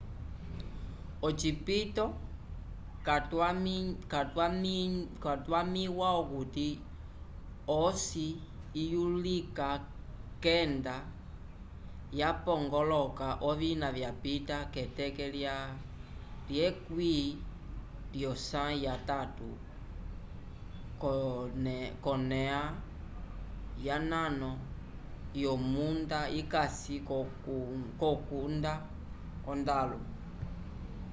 ocipito cakwamĩwa okuti osi iyuluka kenda yapongoloka ovina yapita keteke lya 10 lyosãyi yatatu k'oneoa yonano yomunda ikasi l'okutunda ondalu